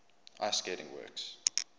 ice skating works